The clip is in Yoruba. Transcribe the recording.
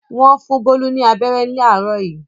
Wọ́n fún Bólú ní abẹ́rẹ́ láàárọ̀ yìí.